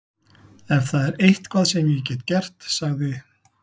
Ef það er eitthvað sem ég get gert- sagði